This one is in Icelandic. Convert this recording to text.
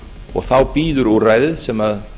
og þá bíður úrræðið sem